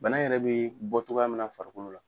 Bana yɛrɛ bɛ bɔ togoya min na farikolo la.